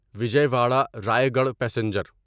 Vijayawada Rayagada passenger